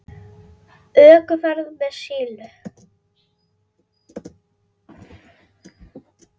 ÖKUFERÐ MEÐ SILLU